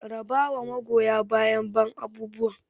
Raba wa magoya bayan ban abubuwan!